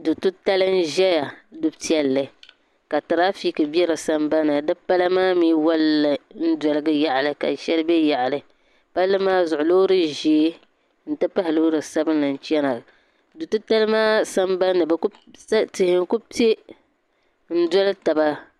Du'titali n-ʒeya duu maa nyɛla du'piɛlli ka tirafiki be sambani ni wali n-doligi yaɣili ka shɛli be yaɣili palli maa zuɣu loori ʒee nti pahi loori sabinli n-chana du'titali maa sambani ni tihi n-ku pe n-doli taba.